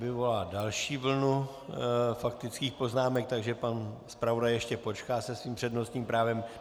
Vyvolala další vlnu faktických poznámek, takže pan zpravodaj ještě počká se svým přednostním právem.